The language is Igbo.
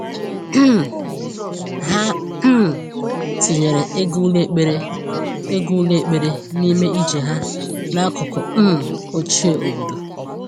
um Ha um tinyere ịga ụlọ ekpere ịga ụlọ ekpere n’ime ije ha n’akụkụ um ochie obodo.